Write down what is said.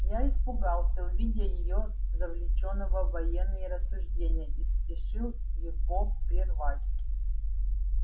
я испугался увидя его завлечённого в военные рассуждения и спешил его прервать